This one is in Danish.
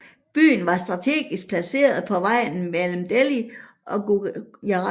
Byen var strategisk placeret på vejen mellem Delhi og Gujarat